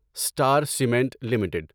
star Cement limited